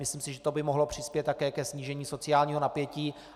Myslím si, že to by mohlo přispět také ke snížení sociálního napětí.